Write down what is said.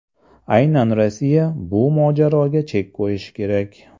Aynan Rossiya bu mojaroga chek qo‘yishi kerak.